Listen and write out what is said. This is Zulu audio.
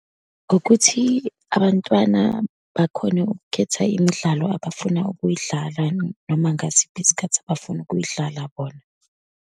Ngokuthi abantwana bakhone ukukhetha imidlalo abafuna ukuyidlala, noma ngasiphi isikhathi abafuna ukuyidlala bona.